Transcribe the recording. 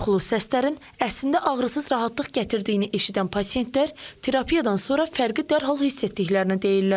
Qorxulu səslərin əslində ağrısız rahatlıq gətirdiyini eşidən pasientlər terapiyadan sonra fərqi dərhal hiss etdiklərini deyirlər.